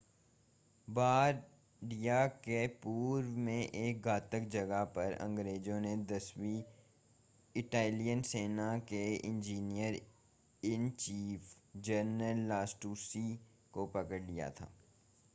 Bardia के पूर्व में एक घातक जगह पर अंग्रेज़ों ने दसवीं इटालियन सेना के इंजीनियर-इन-चीफ़ जनरल लास्टुसी को पकड़ लिया था